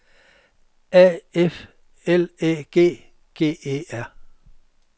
A F L Æ G G E R